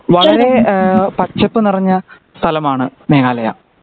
വളരേ ഏഹ് പച്ചപ്പ് നിറഞ്ഞ സ്ഥലമാണ് മേഘാലയ